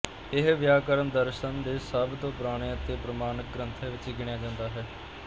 ਇਹ ਵਿਆਕਰਨ ਦਰਸ਼ਨ ਦੇ ਸਭ ਤੋ ਪੁਰਾਣੇ ਅਤੇ ਪ੍ਰਮਾਣਿਕ ਗ੍ਰੰਥਾਂ ਵਿੱਚ ਗਿਣਿਆ ਜਾਂਦਾ ਹੈ